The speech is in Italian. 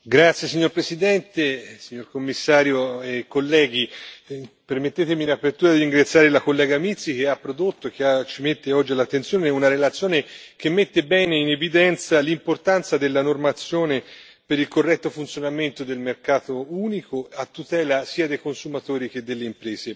Signor Presidente, onorevoli colleghi, signor commissario, permettetemi in apertura di ringraziare la collega Mizzi, che ha prodotto e che ci mette oggi all'attenzione una relazione che mette bene in evidenza l'importanza della normazione per il corretto funzionamento del mercato unico, a tutela sia dei consumatori che delle imprese.